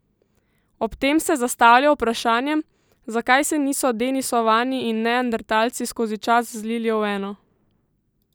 Ob tem se je zastavlja vprašanje, zakaj se niso denisovani in neandertalci skozi čas zlili v eno?